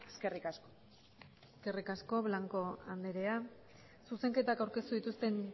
eskerrik asko eskerrik asko blanco anderea zuzenketak aurkeztu dituzten